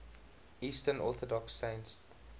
eastern orthodox saints